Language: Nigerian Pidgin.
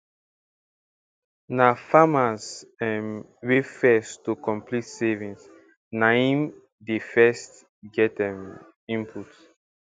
na farmers um wey first to complete saving na im dey first get um input